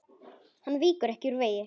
Hann víkur ekki úr vegi.